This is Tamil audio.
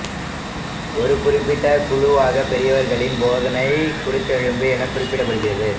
ஒரு குறிப்பிட்ட குழுவாக பெரியவர்களின் போதனை குருத்தெலும்பு என குறிப்பிடப்படுகிறது